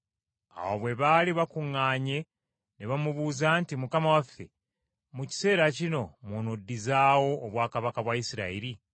Awo bwe baali bakuŋŋaanye ne bamubuuza nti, “Mukama waffe, mu kiseera kino mw’onooddizaawo obwakabaka bwa Isirayiri?”